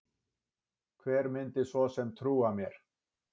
Hver myndi svo sem trúa mér?